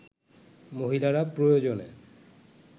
মহিলারা প্রয়োজনে